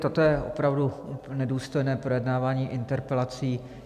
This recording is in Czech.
Toto je opravdu nedůstojné projednávání interpelací.